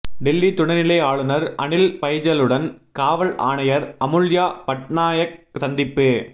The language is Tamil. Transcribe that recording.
டெல்லி துணைநிலை ஆளுநர் அனில் பைஜலுடன் காவல் ஆணையர் அமுல்யா பட்னாயக் சந்திப்பு